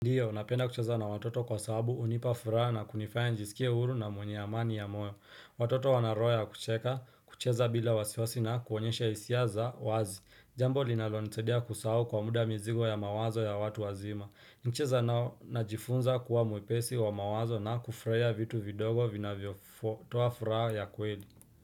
Ndiyo, napenda kucheza na watoto kwa sababu unipa furaha na kunifaya njisikie uru na mwenye amani ya moyo. Watoto wana roho ya kucheka, kucheza bila wasiwasi na kuonyesha hisia za wazi. Jambo linalo nisaidia kusahau kwa muda mizigo ya mawazo ya watu wazima. Nikicheza nao najifunza kuwa mwepesi wa mawazo na kufraiya vitu vidogo vinavyo toa furaha ya kweli.